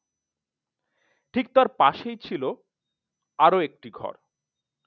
ঠিক তার পাশেই ছিল আরো একটি ঘর